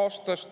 aastast.